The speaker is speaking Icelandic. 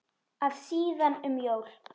að síðan um jól.